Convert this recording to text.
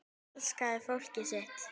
Hún elskaði fólkið sitt.